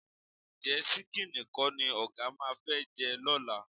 Ǹjẹ́ ṣíkíìnì kọ́ ni ọ̀gá máa fẹ́ jẹ lọ́la?